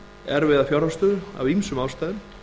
erfiða fjárhagsstöðu af ýmsum ástæðum